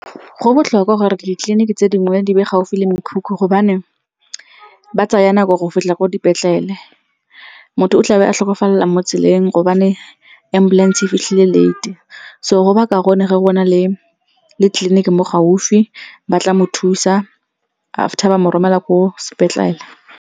Go botlhokwa gore ditleliniki tse dingwe di be gaufi le mekhukhu gobane ba tsaya nako go fitlha ko dipetlele. Motho o tlabe a tlhokafalela mo tseleng gobane ambulance-e e fitlhile late-e, so go ba kaone ge go na le tleliniki mo gaufi, ba tla mo thusa after ba mo romela ko sepetlele.